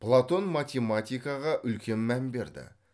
платон математикаға үлкен мән берді